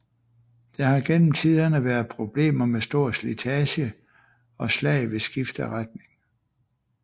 Der har gennem tiderne været problemer med stor slitage og slag ved skift af retning